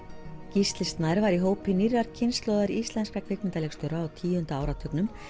Gísli Snær var í hópi nýrrar kynslóðar íslenskra kvikmyndaleikstjóra á tíunda áratugnum